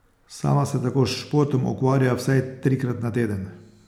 Sama se tako s športom ukvarja vsaj trikrat na teden.